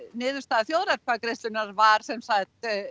niðurstaða þjóðaratkvæðagreiðslunnar var sem sagt